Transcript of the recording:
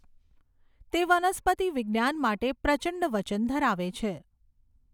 તે વનસ્પતિ વિજ્ઞાન માટે પ્રચંડ વચન ધરાવે છે.